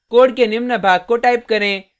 code के निम्न भाग को टाइप करें